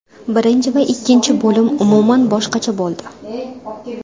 Birinchi va ikkinchi bo‘lim umuman boshqacha bo‘ldi.